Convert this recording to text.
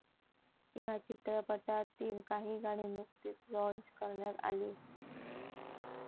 या चित्रपटातील काही गाणी नुकतीच लाँच करण्यात आली.